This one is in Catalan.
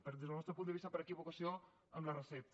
en fi des del nostre punt de vista per equivocació amb la recepta